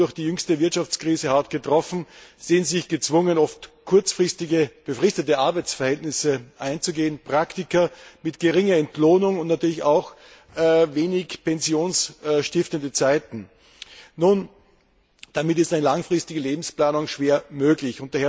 Nun durch die jüngste Wirtschaftskrise hart getroffen, sehen sie sich gezwungen, oft kurzfristige befristete Arbeitsverhältnisse einzugehen und Praktika mit geringer Entlohnung und natürlich auch wenig pensionsstiftenden Zeiten zu absolvieren. Damit ist eine langfristige Lebensplanung schwer möglich.